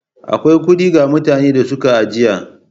Akwai kuɗi ga mutanen da suka ajiye.